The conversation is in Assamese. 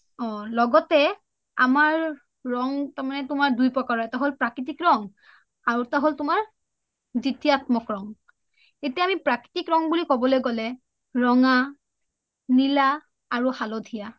অ লগতে আমাৰ ৰং দুই প্ৰকাৰৰ এটা প্ৰাকৃতিক আৰু এটা হ’ল তুমাৰ দিতিআতমক ৰং । এতিয়া আমি প্ৰাকৃতিক ৰং বুলি কবলৈ হ’লে ৰঙা, নীলা আৰু হালধীয়া